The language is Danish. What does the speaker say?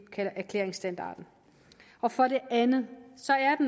erklæringsstandarden for det andet